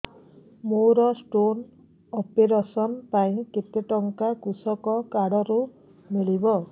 ମୋର stone operation ପାଇଁ କେତେ ଟଙ୍କା କୃଷକ କାର୍ଡ ରୁ ମିଳିବ